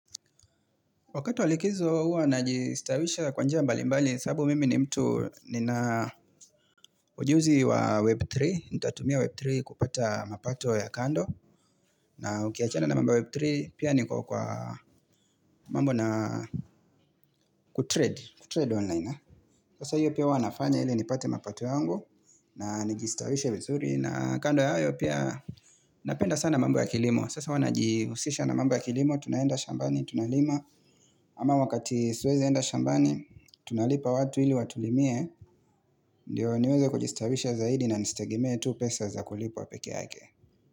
Wakati wa likizo huwa na jistawisha kwa njia mbali mbali sababu mimi ni mtu nina ujuzi wa Web3, nitatumia Web3 kupata mapato ya kando na ukiachana na mambo Web3 pia niko kwa mambo na kutrade, kutrade online. Sasa hiyo pia huwa nafanya ili ni pate mapato yangu na nijistawishe vizuri na kando ya hayo pia napenda sana mambo ya kilimo Sasa huwa najihusisha na mambo ya kilimo, tunaenda shambani, tunalima ama wakati siwezi enda shambani tunalipa watu ili watulimie, ndio niweze kujistawisha zaidi na nisi tegemee tu pesa za kulipwa peke yake.